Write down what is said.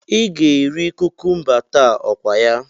Ị ga-eri kukumba taa, okwaya?